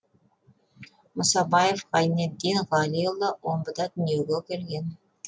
мұсабаев ғайнеддин ғалиұлы омбыда дүниеге келген